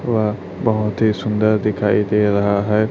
वह बहुत ही सुंदर दिखाई दे रहा है।